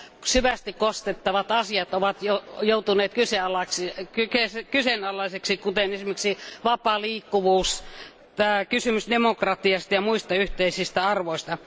syvästi koskettavat asiat ovat joutuneet kyseenalaisiksi kuten esimerkiksi vapaa liikkuvuus, kysymys demokratiasta ja muista yhteisistä arvoista.